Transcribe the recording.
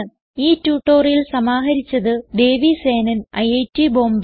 ഈ ട്യൂട്ടോറിയൽ സമാഹരിച്ചത് ദേവി സേനൻ ഐറ്റ് ബോംബേ